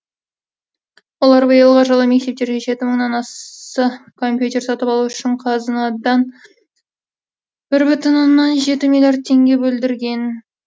олар биылғы жылы мектептерге жеті мыңнан а са компьютер сатып алу үшін қазынадан бір бүтін оннан жеті миллиард теңге бөлдірген